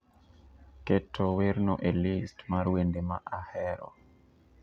keto werno e list mar wende ma ahero